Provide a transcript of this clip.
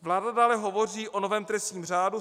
Vláda dále hovoří o novém trestním řádu.